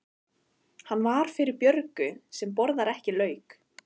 Hann var fyrir Björgu sem borðaði ekki lauk.